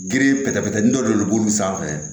Gere pɛtɛ pɛtɛteni dɔ de be buru sanfɛ